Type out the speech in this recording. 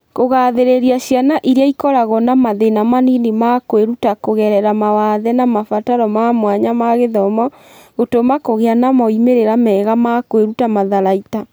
Kũgathĩrĩria ciana iria ikoragwo na mathĩna manini ma kwĩruta kũgerera mawathe na mabataro ma mwanya ma gĩthomo (SEND) kũgĩa na moimĩrĩro mega ma kwĩruta matharaita.